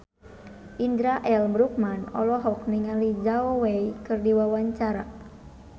Indra L. Bruggman olohok ningali Zhao Wei keur diwawancara